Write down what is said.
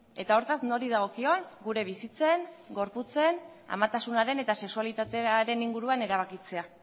eta hortaz nori dagokion gure bizitzen gorputzen amatasunaren eta sexualitatearen inguruan erabakitzea